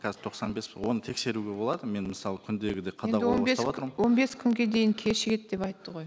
қазір тоқсан бес оны тексеруге болады мен мысалы күндегідей енді он бес он бес күнге дейін кешігеді деп айтты ғой